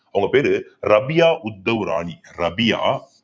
அவங்க பேரு ரபியா உத்தவ் ராணி ரபியா